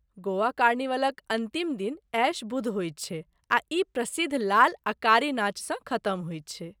गोवा कार्निवलक अन्तिम दिन ऐश बुध होयत छै आ ई प्रसिद्ध लाल आ कारी नाचसँ खत्म होयत छै।